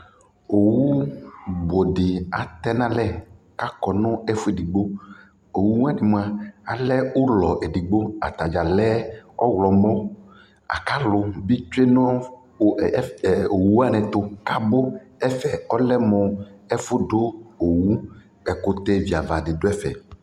Owu budii atɛɛ nalɛ kakɔ nu ɛfuɛdigbo Owuwani mua alɛɛ ulɔ edigbo, ataɖʒa lɛɛ ɔwlɔmɔ lakalu bitwee nu owuwanitu kabu, ɛfɛɛ lɛ ɛfudu owu Ɛkutɛ viavadi duɛfɛ